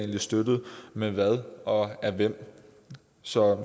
støttet med hvad og af hvem så